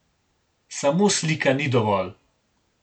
Samo slika ni dovolj.